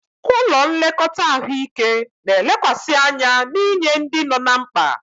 Ụlọ nlekọta ahụike na-elekwasị anya n'inye ndị nọ ná mkpa.